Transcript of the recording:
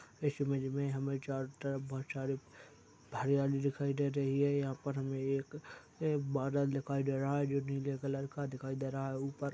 इस इमेज में हमें चारों तरफ बहुत सारी हरियाली दिखायी दे रही है यहाँ पर हमें एक बादल दिखायी दे रहा है जो नीले कलर का दिखायी दे रहा है ऊपर--